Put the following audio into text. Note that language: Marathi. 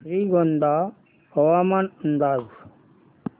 श्रीगोंदा हवामान अंदाज